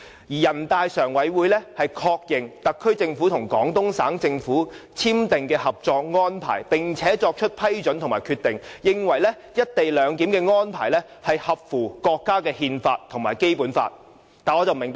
人大常委會就確認特區政府和廣東省政府簽訂的《合作安排》而作出的《決定》，認為"一地兩檢"的安排合乎國家憲法和《基本法》。